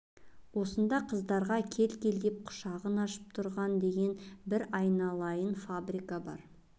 осында қыздарға кел-кел деп құшағын ашып тұрған деген бір айналайын фабрика бар